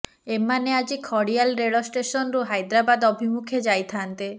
ଏମାନେ ଆଜି ଖଡ଼ିଆଲ ରେଳ ଷ୍ଟେସନରୁ ହାଇଦ୍ରାବାଦ୍ ଅଭିମୁଖେ ଯାଇଥାନ୍ତେ